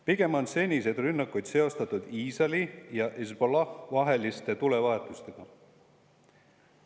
Pigem on seniseid rünnakuid seostatud Iisraeli ja Hezbollah' tulevahetustega.